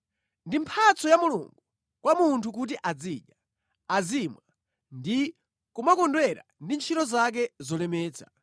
Ndi mphatso ya Mulungu kwa munthu kuti azidya, azimwa ndi kumakondwera ndi ntchito zake zolemetsa.